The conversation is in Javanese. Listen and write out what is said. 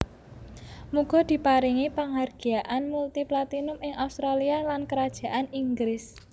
Muga diparingi panghargyaan multi platinum ing Australia lan Kerajaan Inggris